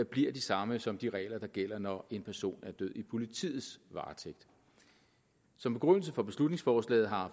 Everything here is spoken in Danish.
bliver de samme som de regler der gælder når en person er død i politiets varetægt som begrundelse for beslutningsforslaget har